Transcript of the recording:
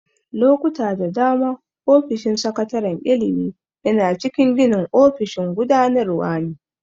Lokuta da dama, ofishin sakataren ilimi yana cikin ginin ofishin gudanarwa ne.